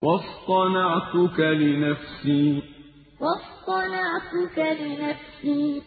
وَاصْطَنَعْتُكَ لِنَفْسِي وَاصْطَنَعْتُكَ لِنَفْسِي